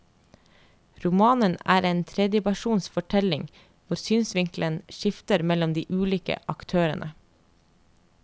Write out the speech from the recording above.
Romanen er en tredjepersons fortelling hvor synsvinkelen skifter mellom de ulike aktørene.